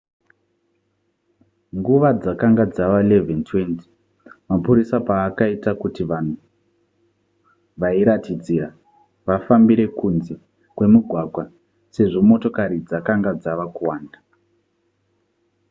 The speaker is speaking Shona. nguva dzakanga dzava 11:20 mapurisa paakaita kuti vanhu vairatidzira vafambire kunze kwemugwagwa sezvo motokari dzakanga dzava kuwanda